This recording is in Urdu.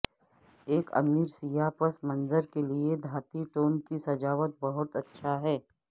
ایک امیر سیاہ پس منظر کے لئے دھاتی ٹون کی سجاوٹ بہت اچھا ہے